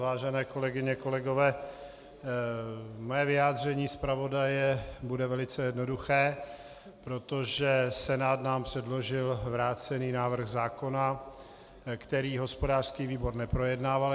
Vážené kolegyně, kolegové, mé vyjádření zpravodaje bude velice jednoduché, protože Senát nám předložil vrácený návrh zákona, který hospodářský výbor neprojednával.